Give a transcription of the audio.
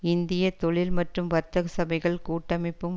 இந்திய தொழில் மற்றும் வர்த்தக சபைகள் கூட்டமைப்பும்